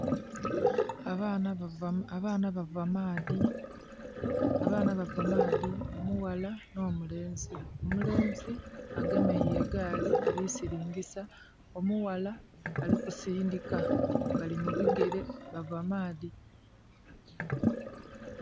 Abaana bava maadhi omughala nho mulenzi, omulenzi agemereire egaali ali silingisa, omughala alikusindhika. Bali mubigere bava maadhi.